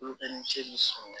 Olu bɛ ni ce ni san